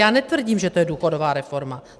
Já netvrdím, že to je důchodová reforma.